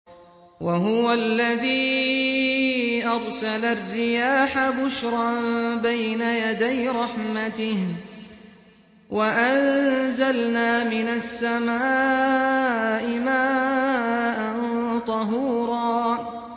وَهُوَ الَّذِي أَرْسَلَ الرِّيَاحَ بُشْرًا بَيْنَ يَدَيْ رَحْمَتِهِ ۚ وَأَنزَلْنَا مِنَ السَّمَاءِ مَاءً طَهُورًا